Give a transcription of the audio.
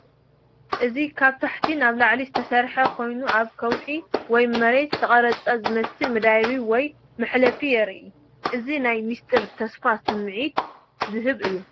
እዚ ካብ ታሕቲ ንላዕሊ ዝተሰርሐ ኮይኑ ኣብ ከውሒ ወይ መሬት ዝተቐርጸ ዝመስል መደያይቦ ወይ መሕለፊ የርኢ። እዚ ናይ ምስጢርን ተስፋን ስምዒት ዝህብ እዩ።